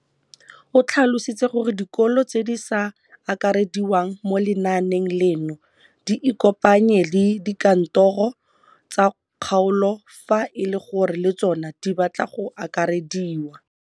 O tlhalositse gore dikolo tse di sa akarediwang mo lenaaneng leno di ikopanye le dikantoro tsa kgaolo fa e le gore le tsona di batla go akarediwa.